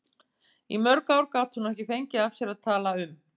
Í mörg ár gat hún ekki fengið af sér að tala um